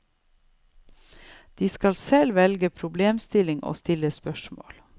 De skal selv velge problemstillinger og stille spørsmål.